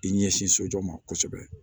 I ɲɛsin sojɔ ma kosɛbɛ